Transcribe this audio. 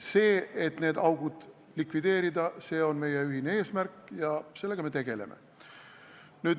See, et need augud tuleb likvideerida, on meie ühine eesmärk ja sellega me tegeleme.